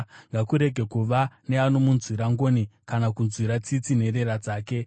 Ngakurege kuva neanomunzwira ngoni kana kunzwira tsitsi nherera dzake.